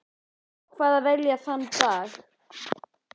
Ég ákvað að velja þann dag.